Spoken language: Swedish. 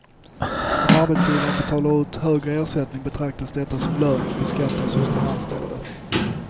Om arbetsgivaren betalar ut högre ersättning betraktas detta som lön och beskattas hos den anställde.